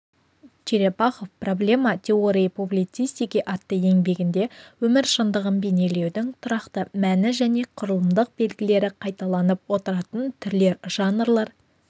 черепахов проблемя теории публицистики атты еңбегінде өмір шындығын бейнелеудің тұрақты мәні және құрылымдық белгілері қайталанып отыратын түрлер жанрлар